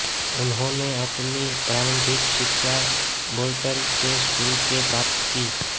उन्होंने अपनी प्रारंभिक शिक्षा बोल्टन के स्कूल से प्राप्त की